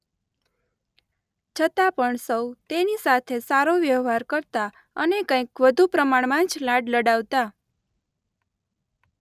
છતાં પણ સૌ તેની સાથે સારો વ્યહવાર કરતા અને કંઈક વધુ પ્રમાણમાં જ લાડ લડાવતા.